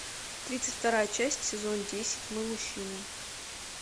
тридцать вторая часть сезон десять мы мужчины